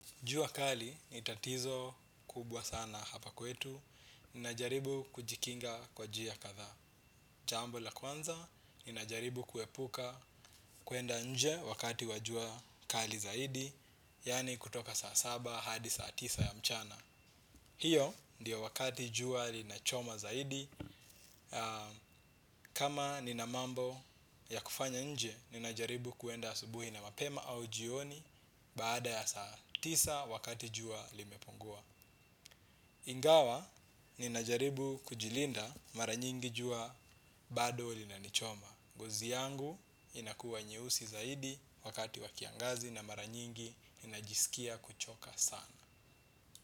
Jua kali ni tatizo kubwa sana hapa kwetu. Ninajaribu kujikinga kwa njia kadhaa. Jambo la kwanza, ninajaribu kuepuka kuenda nje wakati wa jua kali zaidi. Yaani kutoka saa saba, hadi saa tisa ya mchana. Hiyo ndiyo wakati jua linachoma zaidi. Kama nina mambo ya kufanya nje, ninajaribu kuenda asubuhi na mapema au jioni. Baada ya saa tisa wakati jua limepungua ingawa ninajaribu kujilinda mara nyingi jua bado linanichoma ngozi yangu inakuwa nyeusi zaidi wakati wa kiangazi na mara nyingi ninajisikia kuchoka sana.